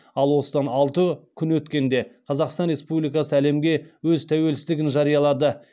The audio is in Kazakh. ал осыдан алты күн өткенде қазақстан республикасы әлемге өз тәуелсіздігін жариялады